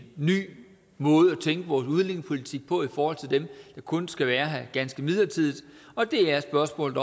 ny måde at tænke vores udlændingepolitik på i forhold til dem der kun skal være her ganske midlertidigt og det er spørgsmålet